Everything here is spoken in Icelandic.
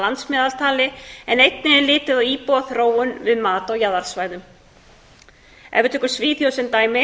landsmeðaltali en einnig er litið á íbúaþróun við mat á jaðarsvæðum ef við tökum svíþjóð sem dæmi